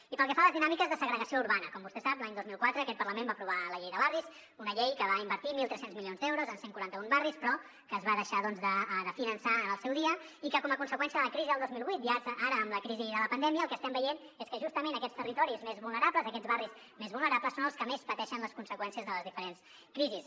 i pel que fa a les dinàmiques de segregació urbana com vostè sap l’any dos mil quatre aquest parlament va aprovar la llei de barris una llei que va invertir mil tres cents milions d’euros en cent i quaranta un barris però que es va deixar de finançar en el seu dia i que com a conseqüència de la crisi del dos mil vuit i ara amb la crisi de la pandèmia el que estem veient és que justament aquests territoris més vulnerables aquests barris més vulnerables són els que més pateixen les conseqüències de les diferents crisis